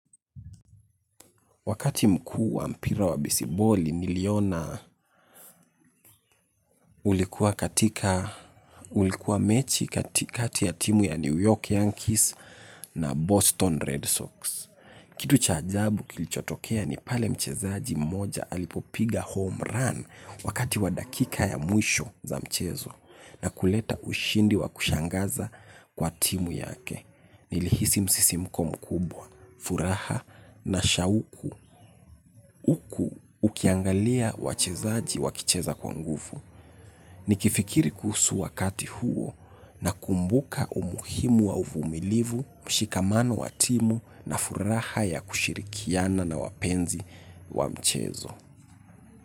Wakati mkuu wa mpira wa bisiboli, niliona ulikuwa katika, ulikuwa mechi katikati ya timu ya New York Yankees na Boston Red Sox. Kitu cha ajabu kilichotokea ni pale mchezaji mmoja alipopiga home run wakati wa dakika ya mwisho za mchezo na kuleta ushindi wa kushangaza kwa timu yake. Nilihisi msisimko mkubwa, furaha na shauku. Uku ukiangalia wachezaji wakicheza kwa nguvu nikifikiri kuhusu wakati huo na kumbuka umuhimu wa uvumilivu, mshikamano wa timu na furaha ya kushirikiana na wapenzi wa mchezo.